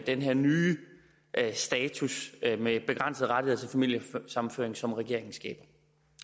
den her nye status med begrænsede rettigheder til familiesammenføring som regeringen skaber